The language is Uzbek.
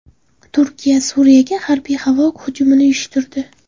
Turkiya Suriyaga harbiy havo hujumi uyushtirdi.